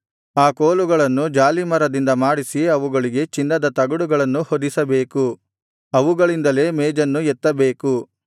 ಆ ಕೋಲುಗಳನ್ನು ಜಾಲೀಮರದಿಂದ ಮಾಡಿಸಿ ಅವುಗಳಿಗೆ ಚಿನ್ನದ ತಗಡುಗಳನ್ನು ಹೊದಿಸಬೇಕು ಅವುಗಳಿಂದಲೇ ಮೇಜನ್ನು ಎತ್ತಬೇಕು